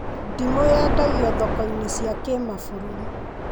Ndimũ yendagio thoko-inĩ cia kĩmabũrũri